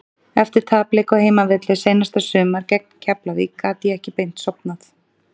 Eftir tapleik á heimavelli seinasta sumar gegn Keflavík gat ég ekki beint sofnað.